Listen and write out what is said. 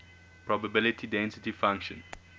probability density function